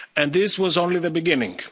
planet. This was only the